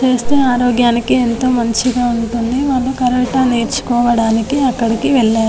చేస్తే ఆరోగ్యానికి ఎంతో మంచిగా ఉంటుంది వాళ్ళు కరాటే నేర్చుకోవడానికి అక్కడికి వెళ్లారు